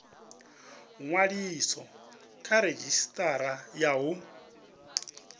ṅwaliswa kha redzhisitara ya u